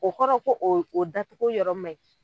O kɔrɔ ko o o da togo yɔrɔ ma ɲi